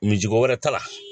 Mincogo wɛrɛ t'a la.